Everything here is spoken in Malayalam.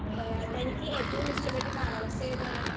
സ്പീക്കർ 1 ഏ തനിക്കേറ്റോം ഇഷ്ടപ്പെട്ട കാലാവസ്ഥയേതാണ്.